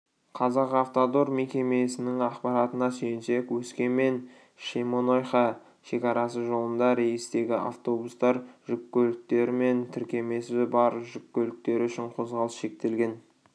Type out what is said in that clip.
казахавтодор мекемесінің ақпаратына сүйенсек өскемен-шемонайха шекарасы жолында рейстегі автобустар жүк көліктері мен тіркемесі бар жүк көліктері үшін қозғалыс шектелген